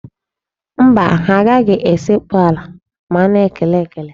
Mba, ha anaghị esekpu ala ma a na-ekele ekele.